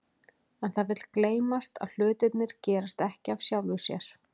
En það vill gleymast að hlutirnir gerast ekki af sjálfu sér.